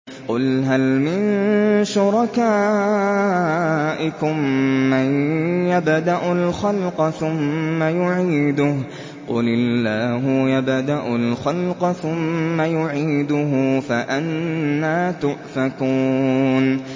قُلْ هَلْ مِن شُرَكَائِكُم مَّن يَبْدَأُ الْخَلْقَ ثُمَّ يُعِيدُهُ ۚ قُلِ اللَّهُ يَبْدَأُ الْخَلْقَ ثُمَّ يُعِيدُهُ ۖ فَأَنَّىٰ تُؤْفَكُونَ